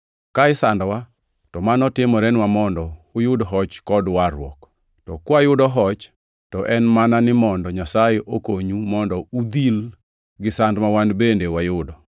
Ka isandowa, to mano timorenwa mondo uyud hoch kod warruok; to ka wayudo hoch, to en mana ni mondo Nyasaye okonyu mondo udhil gi sand ma wan bende wayudo.